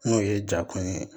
N'o ye jakun ye